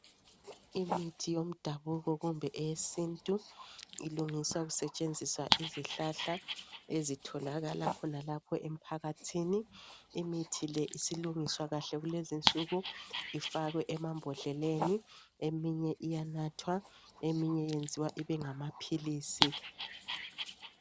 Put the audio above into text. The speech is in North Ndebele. Imithi yomdabuko kumbe eyesintu ilungiswa kusetshenziswa izihlahla ezitholakala khonalapha emphakathini. Imithi le isilungiswa kahle kulezi insuku ifakwe emambodleleni eminye iyanathwa, eminye eyenziwa ibe ngama philisi.